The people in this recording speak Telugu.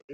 --